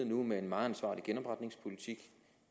nu med en meget ansvarlig genopretningspolitik